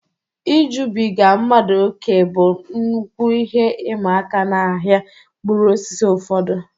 Ijubiga mmadụ ókè bụ nnukwu ihe ịma aka n'ahịa mkpụrụ osisi ụfọdụ.